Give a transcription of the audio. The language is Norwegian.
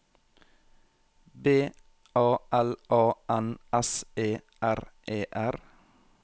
B A L A N S E R E R